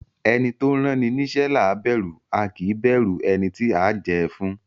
Ẹni tó ránni níṣẹ́ là á bẹ̀rù, a kì í bẹ̀rù ẹni tí a ó jẹ́ ẹ fún.